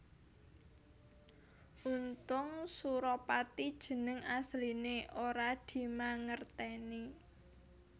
Untung Suropati jeneng asliné ora dimangertèni